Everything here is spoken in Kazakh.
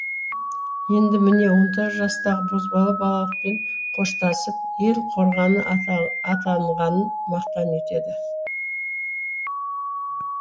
енді міне он тоғыз жастағы бозбала балалықпен қоштасып ел қорғаны атанғанын мақтан етеді